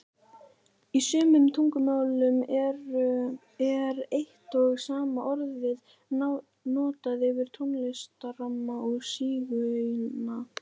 Í sumum tungumálum er eitt og sama orðið notað yfir tónlistarmann og sígauna.